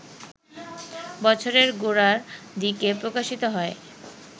বছরের গোড়ার দিকে প্রকাশিত হয়